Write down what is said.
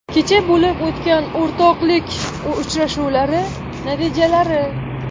Kecha bo‘lib o‘tgan o‘rtoqlik uchrashuvlari natijalari.